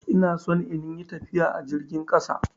Ina son in yi tafiya a jirgin ƙasa.